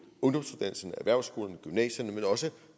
ungdomsuddannelserne erhvervsskolerne og gymnasierne men også